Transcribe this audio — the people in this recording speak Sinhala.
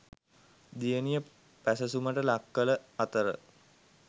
දියණිය පැසසුමට ලක්කළ අතර